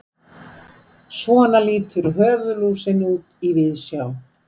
Svona lítur höfuðlúsin út í víðsjá.